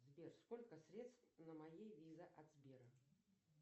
сбер сколько средств на моей виза от сбера